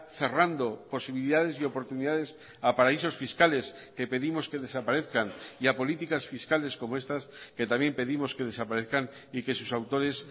cerrando posibilidades y oportunidades a paraísos fiscales que pedimos que desaparezcan y a políticas fiscales como estas que también pedimos que desaparezcan y que sus autores